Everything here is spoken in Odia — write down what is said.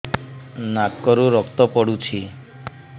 ନାକରୁ ରକ୍ତ ପଡୁଛି